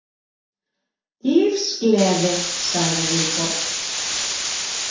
Lífsgleði, sagði Vilborg.